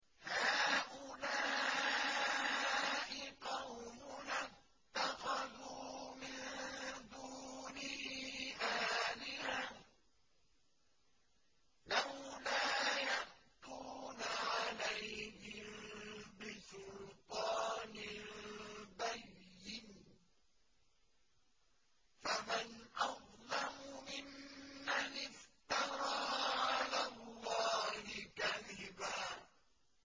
هَٰؤُلَاءِ قَوْمُنَا اتَّخَذُوا مِن دُونِهِ آلِهَةً ۖ لَّوْلَا يَأْتُونَ عَلَيْهِم بِسُلْطَانٍ بَيِّنٍ ۖ فَمَنْ أَظْلَمُ مِمَّنِ افْتَرَىٰ عَلَى اللَّهِ كَذِبًا